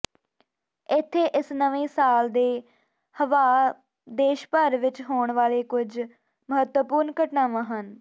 ਇੱਥੇ ਇਸ ਨਵੇਂ ਸਾਲ ਦੇ ਹੱਵਾਹ ਦੇਸ਼ ਭਰ ਵਿੱਚ ਹੋਣ ਵਾਲੇ ਕੁਝ ਮਹੱਤਵਪੂਰਨ ਘਟਨਾਵਾਂ ਹਨ